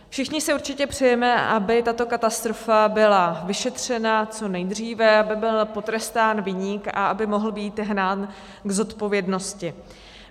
Všichni si určitě přejeme, aby tato katastrofa byla vyšetřena co nejdříve, aby byl potrestán viník a aby mohl být hnán k zodpovědnosti.